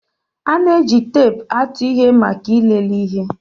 A na-eji teepu atụ ihe maka ịlele ihe